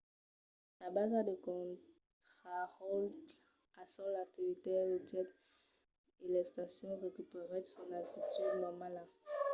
la basa de contraròtle al sòl activèt los jets e l'estacion recuperèt son altitud normala